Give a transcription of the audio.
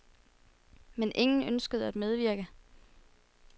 Men ingen ønskede at medvirke.